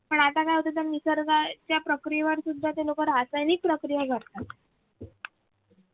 पण आता काय होतंय निसर्गाच्या प्रक्रियेवर सुद्धा लोक रासायनिक प्रक्रिया घडवताय